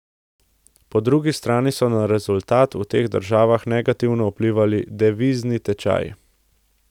Po drugi strani so na rezultat v teh državah negativno vplivali devizni tečaji.